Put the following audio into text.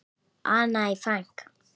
Anne Frank.